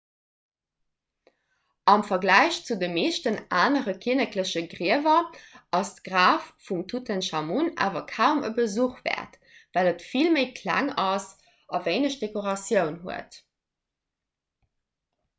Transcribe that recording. am verglach zu de meeschten anere kinnekleche griewer ass d'graf vum tutenchamun awer kaum e besuch wäert well et vill méi kleng ass a wéineg dekoratioun huet